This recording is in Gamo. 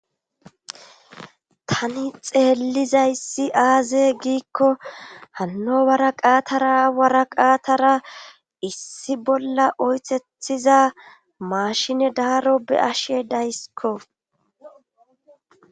tani xeellizayssi aaze giikko hanno waraqatara waraqaatara issi bolla oythethiza maashine daaro be ashe daysiko